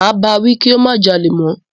Máa bá wí kí ó má jalè mọ́.